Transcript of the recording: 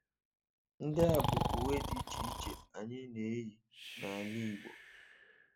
Ndị a bụ uwe dị iche iche ndị anyị na-eyi n’ala Igbo